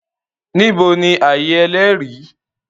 Níbo ni ààyè Ẹlẹ́rìí?